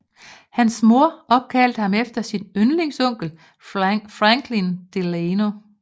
Hans mor opkaldte ham efter sin yndlingsonkel Franklin Delano